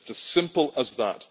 It is a simple as that.